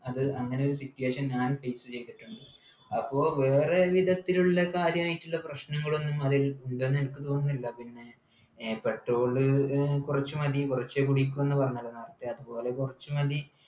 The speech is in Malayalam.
അത് അങ്ങനെ ഒരു situation ഞാൻ face ചെയ്തിട്ടുണ്ട് അപ്പോ വേറെ വിധത്തിലുള്ള കാര്യമായിട്ടുള്ള പ്രശ്നങ്ങൾ ഒന്നും അതിൽ ഉണ്ടെന്നെനിക്ക് തോന്നുന്നില്ല പിന്നെ ഏർ petrol നു കുറച്ചു മതി കുറച്ച് കുടിക്കുമെന്ന് പറഞ്ഞിരുന്നല്ലോ നേരത്തെ അതുപോലെ കുറച്ചു മതി